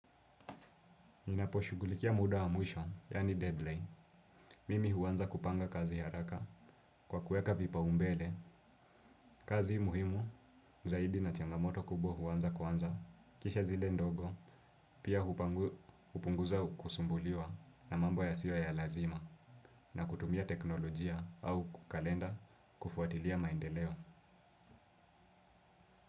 Ninapo shugulikia muda wa mwisho, yaani deadline, mimi huanza kupanga kazi ya haraka kwa kuweka vipaumbele, kazi muhimu, zaidi na changamoto kubwa huanza kwanza, kisha zile ndogo, pia hupunguza kusumbuliwa na mambo yasiyo ya lazima na kutumia teknolojia au kalenda kufuatilia maendeleo.